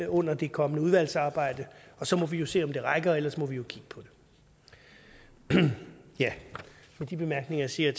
under det kommende udvalgsarbejde og så må vi se om det rækker og ellers må vi jo kigge på det med de bemærkninger siger